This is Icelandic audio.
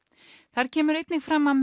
þar kemur einnig fram að